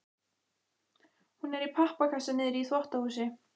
Hún er í pappakassa niðri í þvottahúsi.